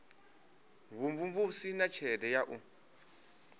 vhumvumvusi na tshelede ya u